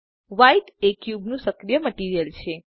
white એ ક્યુબનું સક્રિય મટીરીઅલ છે